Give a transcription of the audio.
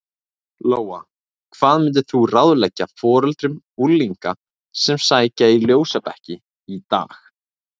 Lóa: Hvað myndir þú ráðleggja foreldrum unglinga sem að sækja í ljósabekki í dag?